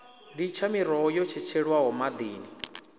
litsha miroho yo tshetshelwaho maḓini